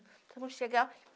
Então, vamos chegar.